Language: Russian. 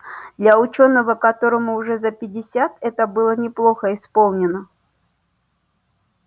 для учёного которому уже за пятьдесят это было неплохо исполнено